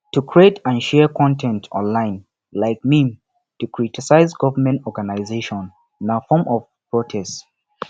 to create and share con ten t online like meme to critise government organisation na form of protest